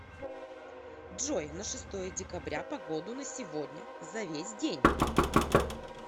джой на шестое декабря погоду на сегодня за весь день